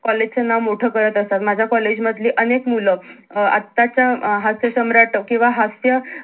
college च नाव मोठं करत असतात माझ्या कॉलेज मधली अनेक मूल आताच्या अं हसासम्राट किंवा हास्य